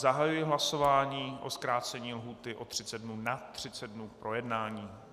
Zahajuji hlasování o zkrácení lhůty o 30 dnů na 30 dnů k projednání.